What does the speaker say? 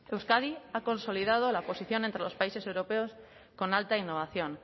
euskadi ha consolidado la posición entre los países europeos con alta innovación